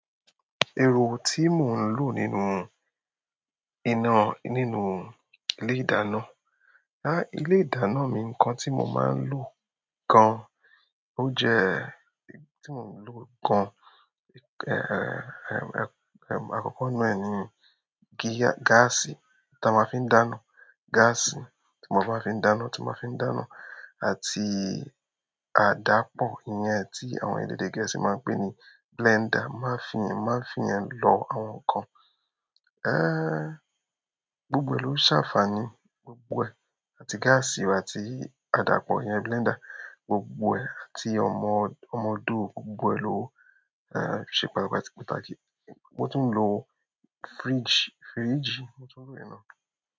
Èrò tí mò ń lò nínú iná nínú ilé-ìdáná, á, ilé-ìdáná mi ǹkan tí mò máa ń lò gan, ó jẹ́ tí mò ń lò gan, àkọ́kọ́ na ni gíà-gáàsì ta máa ń fi ń dáná, gáàsì tí mo máa ń fi ń dáná, tí mo máa ń fi ń dáná àti àdápọ̀ iyẹn tí àwọn èdè Gẹ̀ẹ́sì máa ń pè ní blender màá fi, màá fi yẹn lọ àwọn ǹkan. Ẹ̀, gbogbo lò ń ṣàfàní gbogbo ẹ̀, àti gáàsì àti àdápọ̀ iyẹn blender gbogbo ẹ̀ àti ọmọ, ọmọ odó gbogbo lò, ẹ̀, ṣe pàtapati- pàtàkì. Mo tún ń lo fridge, fridge mo tún ń lò yen na.